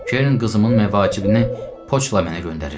Kern qızımın məvacibini poçtla mənə göndərir.